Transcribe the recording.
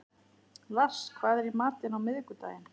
Lars, hvað er í matinn á miðvikudaginn?